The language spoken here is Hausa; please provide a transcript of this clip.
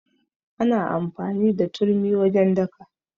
Ana amfani da turmi wajen daka.